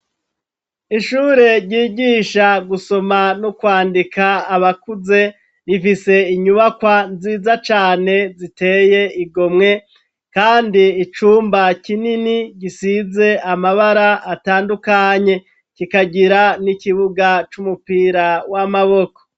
Ishure ryigisha gusoma n'kwandika abakuze rifise inyubakwa nziza cane ziteye igomwe, kandi icumba kinini gisize amabara atandukanye kikagira n'ikibuga c'umupira w'amaboko.